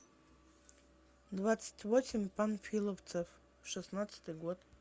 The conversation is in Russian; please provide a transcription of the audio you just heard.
двадцать восемь панфиловцев шестнадцатый год